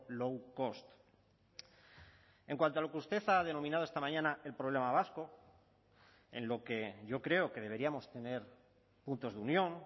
low cost en cuanto a lo que usted ha denominado esta mañana el problema vasco en lo que yo creo que deberíamos tener puntos de unión